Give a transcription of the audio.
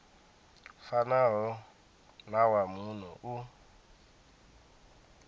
fanaho na wa muno u